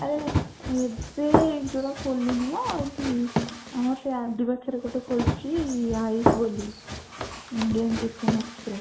ଆରେ ଏବେ ଯଉଟା ଖୋଲିନି ନା ଏଠି ଆମ ସେ RD ପାଖରେ ଗୋଟେ ଖୋଲିଛି ଆୟୁଷ ବୋଲି Indian chicken express